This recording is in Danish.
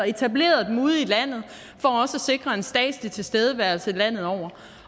etableret dem ude i landet for også at sikre en statslig tilstedeværelse landet over